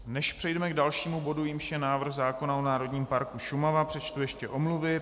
Než přejdeme k dalšímu bodu, jímž je návrh zákona o národním parku Šumava, přečtu ještě omluvy.